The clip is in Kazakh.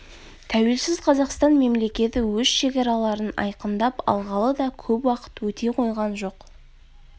тәуелсіз қазақстан мемлекеті өз шекараларын айқындап алғалы да көп уақыт өте қойған жоқ